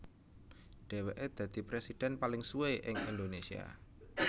Dhèwèke dadi prèsidhèn paling suwé ing Indonésia